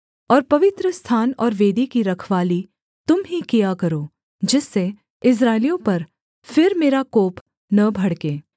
और पवित्रस्थान और वेदी की रखवाली तुम ही किया करो जिससे इस्राएलियों पर फिर मेरा कोप न भड़के